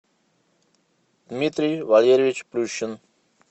дмитрий валерьевич плющин